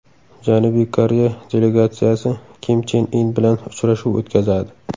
Janubiy Koreya delegatsiyasi Kim Chen In bilan uchrashuv o‘tkazadi.